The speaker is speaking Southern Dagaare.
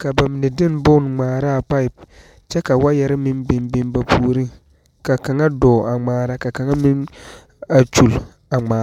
ka ba mine de bon ŋmaara a pipe kyɛ ka waayɛre meŋ biŋ biŋ ba puoriŋ ka kaŋa dɔɔ a ŋmaara ka kaŋa meŋ a kyoli a ŋmaara.